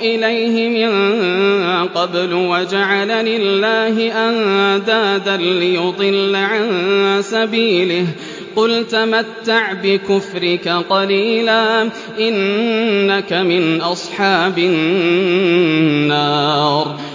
إِلَيْهِ مِن قَبْلُ وَجَعَلَ لِلَّهِ أَندَادًا لِّيُضِلَّ عَن سَبِيلِهِ ۚ قُلْ تَمَتَّعْ بِكُفْرِكَ قَلِيلًا ۖ إِنَّكَ مِنْ أَصْحَابِ النَّارِ